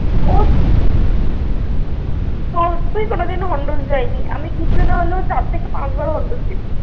কোনো দিনও Hondo's যাইনি। আমি কিছু না হলেও চার থেকে পাঁচ বার Hondo's গেছি।